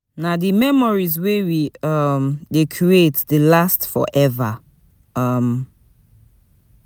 Na di memories wey we um dey create dey last forever. um